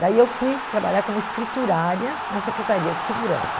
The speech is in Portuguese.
Daí eu fui trabalhar como escriturária na Secretaria de Segurança.